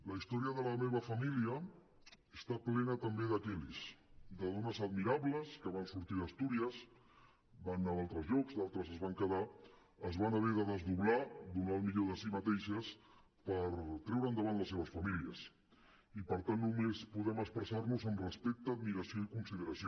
la història de la meva família està plena també de kellys de dones admirables que van sortir d’astúries van anar a altres llocs altres es van haver de desdoblar donar el millor de si mateixes per tirar endavant les seves famílies i per tant només podem expressar nos amb respecte admiració i consideració